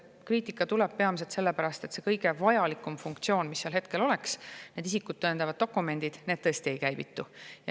Kriitika tuleb peamiselt selle pärast, et see kõige vajalikum funktsioon, need isikut tõendavad dokumendid tõesti ei käivitu.